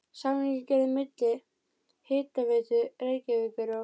Samningur gerður milli Hitaveitu Reykjavíkur og